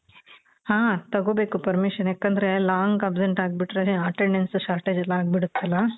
ಹ ತಗೋಬೇಕು permission ಯಾಕಂದ್ರೆ long absent ಅಗ್ಬಿಟ್ರೆ attendance shortage ಎಲ್ಲ ಅಗ್ಬಿಡತ್ತಲ.